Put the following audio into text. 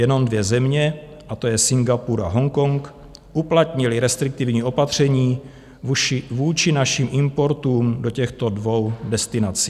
Jenom dvě země, a to je Singapur a Hongkong, uplatnily restriktivní opatření vůči našim importům do těchto dvou destinací.